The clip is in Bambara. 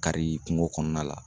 Kari kungo kɔnɔna la